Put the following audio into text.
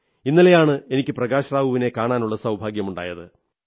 ഇന്നലെയാണ് എനിക്ക് പ്രകാശ് റാവുവിനെ കാണാനുള്ള സൌഭാഗ്യമുണ്ടായത്